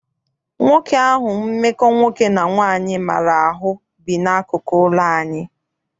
Nwoke ahụ mmekọ nwoke na nwaanyị maara ahụ bi n'akụkụ ụlọ anyị.